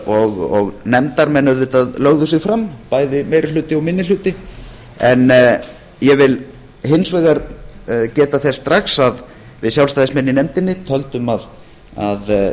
og nefndarmenn auðvitað lögðu sig fram bæði meiri hluti og minni hluti en ég vil hins vegar geta þess strax að við sjálfstæðismenn í nefndinni töldum að